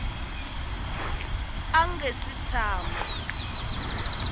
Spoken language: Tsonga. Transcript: a a nga si tshama